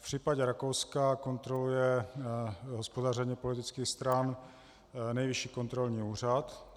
V případě Rakouska kontroluje hospodaření politických stran nejvyšší kontrolní úřad.